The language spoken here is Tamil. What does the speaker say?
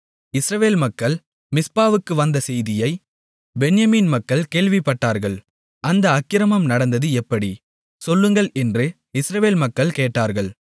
இஸ்ரவேல் மக்கள் மிஸ்பாவுக்கு வந்த செய்தியைப் பென்யமீன் மக்கள் கேள்விப்பட்டார்கள் அந்த அக்கிரமம் நடந்தது எப்படி சொல்லுங்கள் என்று இஸ்ரவேல் மக்கள் கேட்டார்கள்